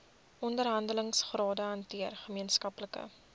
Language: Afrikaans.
onderhandelingsrade hanteer gemeenskaplike